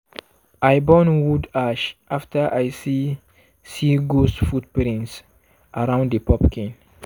i burn wood ash after i see see ghost footprints around di pumpkin.